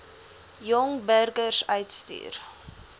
jong burgers uitstuur